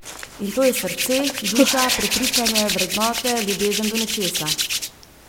In to je srce, duša, prepričanje, vrednote, ljubezen do nečesa.